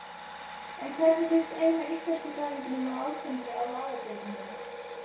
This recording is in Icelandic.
En hvernig líst eina íslenskufræðingnum á Alþingi á lagabreytinguna?